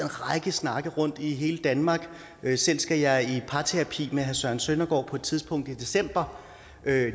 række snakke rundt i hele danmark selv skal jeg i parterapi med herre søren søndergaard på et tidspunkt i december